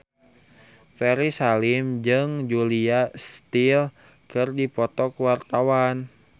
Ferry Salim jeung Julia Stiles keur dipoto ku wartawan